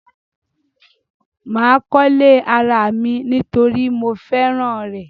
Mà kọ́lé ara mi nítorí mo fẹ́ràn rẹ̀.